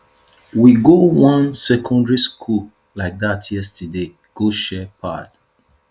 we go wan secondary school like dat yesterday go share pad